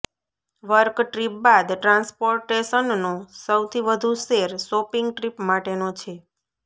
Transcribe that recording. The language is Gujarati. વર્ક ટ્રીપ બાદ ટ્રાન્સપોર્ટેશનનો સૌથી વધુ શેર શોપિંગ ટ્રીપ માટેનો છે